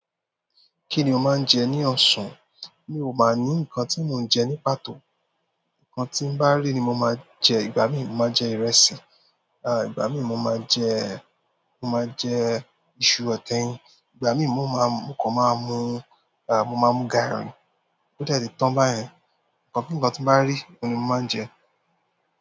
Kí ni o máa ń jẹ ní ọ̀sán? Mi ò máa ní nǹkan tí mo ń jẹ ní pàtó. Nǹkan tí mo bá rí ni mo máa jẹ. Ìgbà mí ì mo máa jẹ ìrẹsì, à ìgbà mí ì mo máa jẹ, mo máa jẹ iṣu àti eyin, ìgbà mí ì mo máa, mo kàn máa mú, à mo máa mú garri. Ó dẹ̀ ti tán báyẹn. Nkan kankan ti mo ba ri oun ni mo maa n je.